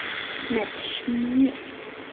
Með smjöri.